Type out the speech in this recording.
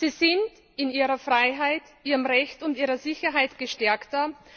Sie sind in ihrer Freiheit, ihrem Recht und ihrer Sicherheit gestärkter.